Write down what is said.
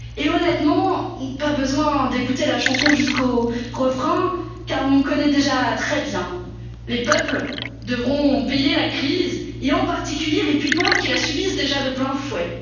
plus. Honnêtement, pas besoin d'écouter la chanson jusqu'au refrain car on le connaît déjà très bien les peuples devront payer la crise, et en particulier les plus pauvres qui la subissent déjà de